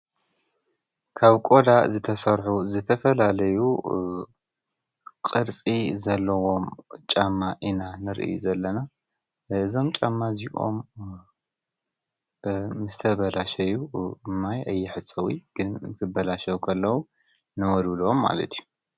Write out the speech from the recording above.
ካብ ቆዳ ዝተሰርሑ ዝተፈላለዩ ዓይነት ቅርፂ ዘለዎም ጫማ ኢና ንርኢ ዘለና እዞም ጫማ እዚኦም ዝተበላሸዉ ብማይ አይሕፀቡን ክበላሸዉ ከለዉ ንዉልዉሎ ማለት እዪ